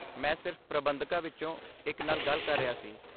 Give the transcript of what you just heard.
ਮੈਂ ਸਿਰਫ਼ ਪ੍ਰਬੰਧਕਾਂ ਵਿੱਚੋਂ ਇੱਕ ਨਾਲ ਗੱਲ ਕਰ ਰਿਹਾ ਸੀ।